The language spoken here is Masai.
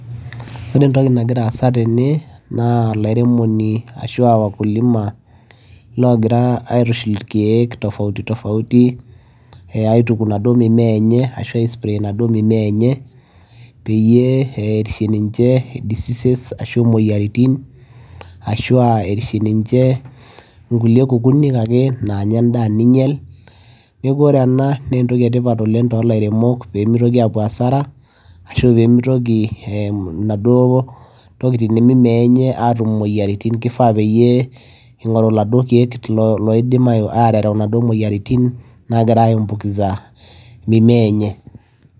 ore entoki nagira aasa tene naa olairemoni ashua wakulima logira aitushul irkeek tofauti tofauti eh aituku inaduo mimea enye ashu ae spray inaduo mimea enye peyie erishe ninche diseases ashu imoyiaritin ashua erishe ninche nkulie kukunik ake naanya endaa ninyial neeku ore ena naa entoki etipat oleng tolairemok pemitoki apuo asara ashu pemitoki eh inaduo tokitin mimea enye atum imoyiaritin kifaa peyie ing'oru iladuo keek lo loidim ae aterew inaduo moyiaritin nagira ae ambukiza mimea enye.